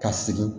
Ka segin